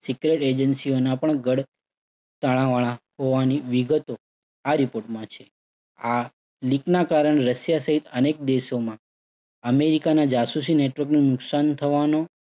secret agency ઓના પણ ઘડ તાણાવાણા હોવાની વિગતો આ report છે. આ leak ના કારણે રશિયા સહીત અનેક દેશોમાં અમેરિકાના જાસૂસી network નું નુકસાન થવાનો